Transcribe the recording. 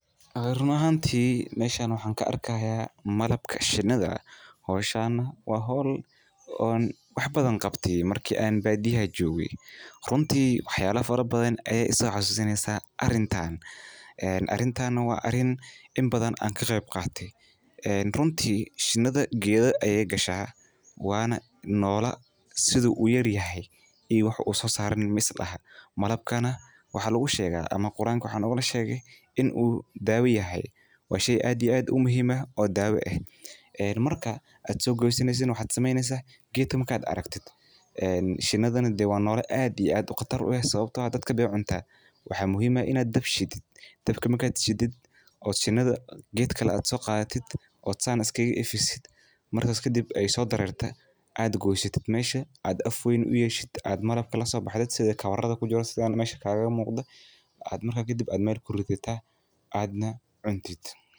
Ee ruun ahaanti malabka sheenetha shooshan wa hool oo wax bathan qaabtay markan aan baadiyaah jokay ruunta waxyala farabadhan ee se xasusatay ee arintan wa arin inbathan ka qeeb Qatay ee ruunta sheenitha joktoh keetha Aya kashah wana noola inu yaryahay oo susaran maislahay halkan waxa lagu sheekah amah Quranka maxalagu sheekah, in oo daawo yahay wa sheey ada iyo aad muhim u aah eee marka keetka marka aragtoh sheenitha dadka way cuntaha waxa muhim aah Ina daab sheedoh, daabka marka sheedeth sheenitha keetgali soqatheteet keetgan oo saan isgaka markas kadib oo so dareertoh adkoysit mesha ayaa malabka la so baxday kawarayaha kujiran muqdah marka kadib meel kurithatah oo jeertah.